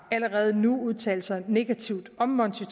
allerede nu udtalt sig negativt om monti